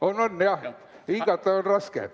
On-on, jah, hingata on raske.